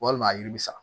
Walima a yiri bi sa